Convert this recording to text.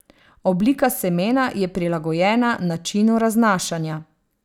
Oblika semena je prilagojena načinu raznašanja.